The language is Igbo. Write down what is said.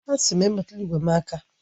Asị m, emetụla igwe m aka!